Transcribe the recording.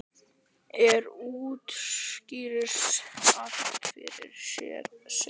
Ég útskýri allt fyrir þér seinna.